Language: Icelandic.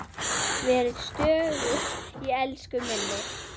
Verið stöðug í elsku minni.